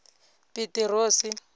pitirosi